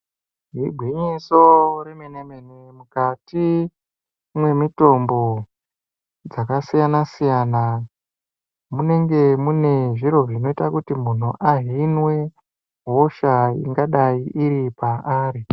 Igwinyiso remene-mene mukati mwemitombo dzakasiyana -siyana munenge mune zviro zvinoita kuti munhu ahinwe hosha ingadai iri paari.